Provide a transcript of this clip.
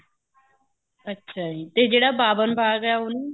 ਅੱਛਾ ਜੀ ਤੇ ਜਿਹੜਾ ਬਾਵਨ ਬਾਗ ਏ ਉਹਨੂੰ